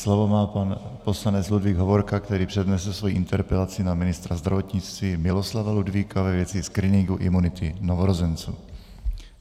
Slovo má pan poslanec Ludvík Hovorka, který přednese svoji interpelaci na ministra zdravotnictví Miloslava Ludvíka ve věci screeningu imunity novorozenců.